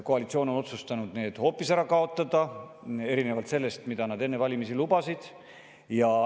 Koalitsioon on otsustanud selle hoopis ära kaotada, erinevalt sellest, mida nad enne valimisi lubasid.